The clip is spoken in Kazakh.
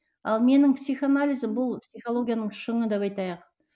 ал менің психоанализім бұл психологияның шыңы деп айтайық